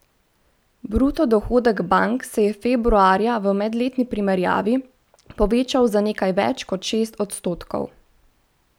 Bruto dohodek bank se je februarja v medletni primerjavi povečal za nekaj več kot šest odstotkov.